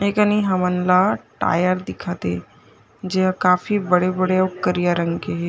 ए कनि हमन ला टायर दिखत हे जे ह काफी बड़े-बड़े अउ करिया रंग के हे।